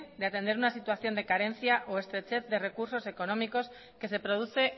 de atender una situación de carencia o estrechez de recursos económicos que se produce